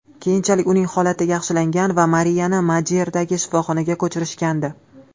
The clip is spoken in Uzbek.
Keyinchalik uning holati yaxshilangan va Mariyani Madeyradagi shifoxonaga ko‘chirishgandi.